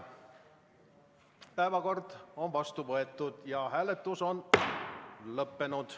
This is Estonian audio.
Päevakord on vastu võetud ja hääletus on lõppenud